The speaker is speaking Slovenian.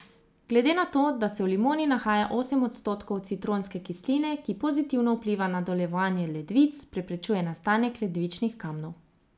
Glede na to, da se v limoni nahaja osem odstotkov citronske kisline, ki pozitivno vpliva na delovanje ledvic, preprečuje nastanek ledvičnih kamnov.